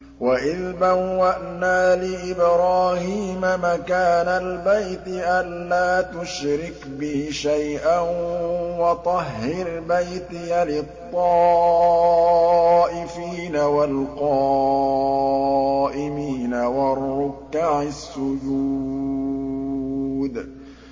وَإِذْ بَوَّأْنَا لِإِبْرَاهِيمَ مَكَانَ الْبَيْتِ أَن لَّا تُشْرِكْ بِي شَيْئًا وَطَهِّرْ بَيْتِيَ لِلطَّائِفِينَ وَالْقَائِمِينَ وَالرُّكَّعِ السُّجُودِ